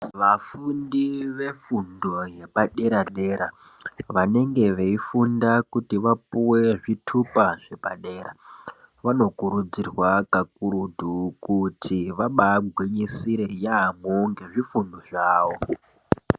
Vafundi vefundo yepadera-dera vanenge veifunda kuti vapuwe zvitupa zvepadera vanokurudzirwa kakurutu kuti vabaagwinyisire yaamho ngezvifundo zvawo.